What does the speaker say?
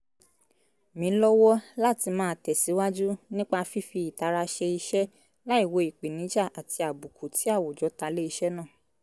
mí lọ́wọ́ láti máa tẹ̀síwáju nípa fífi ìtara ṣe iṣẹ́ láìwo ìpèníjà àti àbùkù tí àwùjọ ta lé iṣẹ́ náà